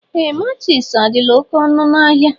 Ee matchis adịla oké ọnụ n'ahia.